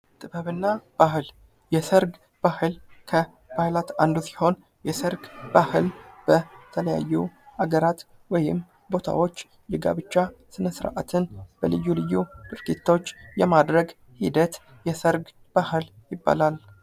ጥበብና ባህል የሰርግ ባህል ከባህላት አንዱ ሲሆን የሰርግ ባህል በተለያዩ ሀገራት ወይም ቦታዎች የጋብቻ ስነ ስርዓትን በልዩ ልዩ ድርጊቶች የማድረግ ሂደት የሰርግ ይባላል ::